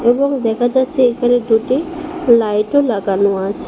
এবং দেখা যাচ্ছে এখানে দুটি লাইটও লাগানো আছে।